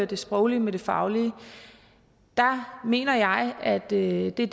det sproglige med det faglige der mener jeg at det er det